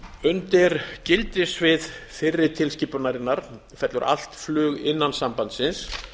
undir gildissvið fyrri tilskipunarinnar fellur allt flug innan sambandsins